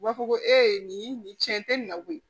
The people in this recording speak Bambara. U b'a fɔ ko ee nin nin tiɲɛ tɛ nin na koyi